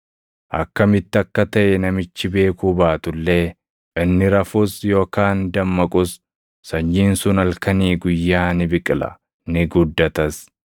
Akkamitti akka taʼe namichi beekuu baatu illee, inni rafus yookaan dammaqus, sanyiin sun halkanii guyyaa ni biqila; ni guddatas.